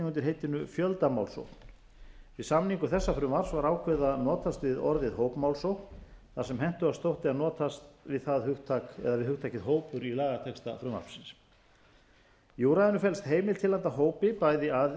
undir heitinu fjöldamálsókn við samningu þessa frumvarps var ákveðið að notast við orðið hópmálsókn þar sem hentugast þótti að notast við hugtakið hópur í lagatexta frumvarpsins í úrræðinu felst heimild til handa